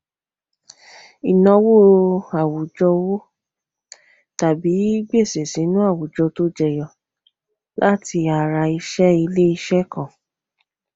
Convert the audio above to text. ìnáwó àwùjọ owó tàbí gbèsè sínú àwùjọ tó jẹyọ láti ara iṣẹ ilé iṣẹ kan